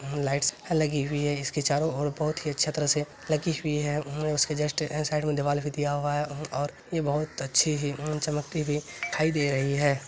Lights लगी हुई है। इसके चारो ओर बहुत ही छत से लगी हुई है। उसके जस्ट ए साइड में देवाल दिया हुआ है। और ये बहोत अच्छे हैं चमकते हुए दिखाई दे रही है।